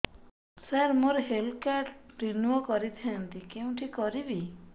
ସାର ମୋର health card renew କରିଥାନ୍ତି କେଉଁଠି କରିବି